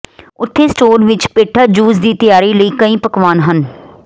ਉੱਥੇ ਸਟੋਰ ਵਿੱਚ ਪੇਠਾ ਜੂਸ ਦੇ ਦੀ ਤਿਆਰੀ ਲਈ ਕਈ ਪਕਵਾਨਾ ਹਨ